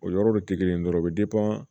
O yɔrɔ de tɛ kelen ye dɔrɔn o bɛ